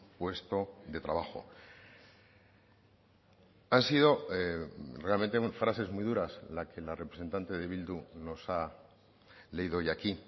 puesto de trabajo han sido realmente frases muy duras la que la representante de bildu nos ha leído hoy aquí